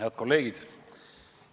Head kolleegid!